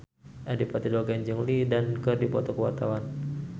Adipati Dolken jeung Lin Dan keur dipoto ku wartawan